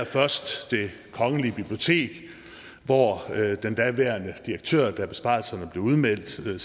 først det kongelige bibliotek hvor den daværende direktør da besparelserne blev udmeldt sagde